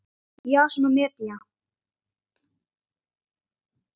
Jason og Medea.